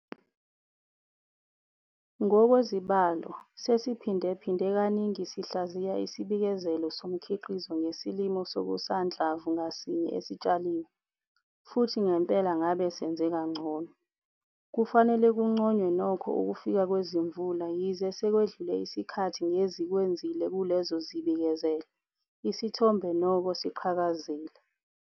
Ngokwezibalo, sesiphindaphinde kaningi sihlaziya isibikezelo somkhiqizo ngesilimo sokusanhlamvu ngasinye esitshaliwe, futhi ngempela ngabe senze kangcono. Kufanele kunconywe nokho ukufika kwezimvula yize sekwedlule isikhathi ngezikwenzile kulezo zibikezelo, isithombe nokho siqhakazile.